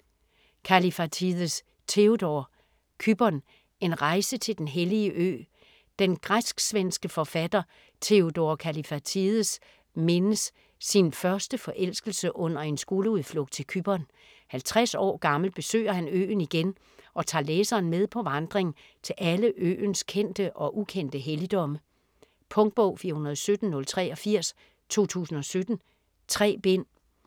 Kallifatides, Theodor: Cypern: en rejse til den hellige ø Den græsk-svenske forfatter Theodor Kallifatides mindes sin første forelskelse under en skoleudflugt til Cypern; 50 år gammel besøger han øen igen og tager læseren med på vandring til alle øens kendte og ukendte helligdomme. Punktbog 417083 2017. 3 bind.